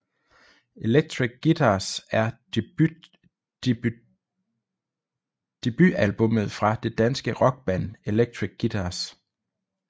Electric Guitars er debutalbummet fra det danske rockband Electric Guitars